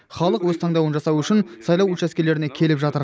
халық өз таңдауын жасау үшін сайлау учаскелеріне келіп жатыр